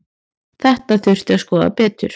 Þetta þurfi að skoða betur.